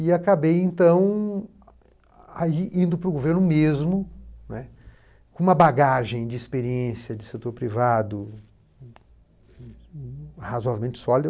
E acabei, então, ai indo para o governo mesmo, né, com uma bagagem de experiência de setor privado razoavelmente sólida.